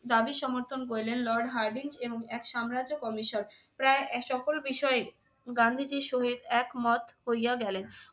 দাবি সমর্থন করিলেন lord হার্ডিং এবং এক সাম্রাজ্য commission প্রায় সকল বিষয়ে গান্ধীজীর সহিত একমত হইয়া গেলেন।